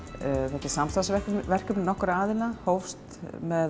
þetta er samstarfsverkefni nokkurra aðila hófst